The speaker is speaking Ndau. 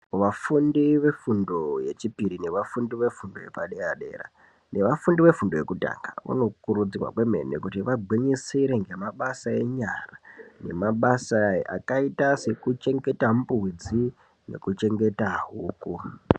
Vafundi vefundo yechipiri, vafundi vefundo yepadera dera nevafundi vefundo yekutanga vanokurudzirwa kwemene kuti vagwinyisire ngemabasa enyara akaita sekuchengeta mbudzi nekuchengeta huku.